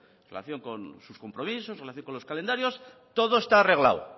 en relación con sus compromisos en relación con los calendarios todo está arreglado